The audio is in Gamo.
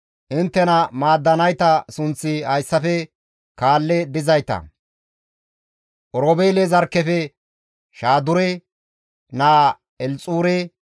Inttena maaddanayta sunththi hayssafe kaalli dizayta, Oroobeele zarkkefe Shaadure naa Elxuure,